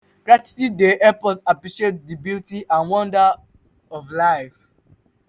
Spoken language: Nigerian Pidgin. gratitude dey help us appreciate di beauty and wonder of life.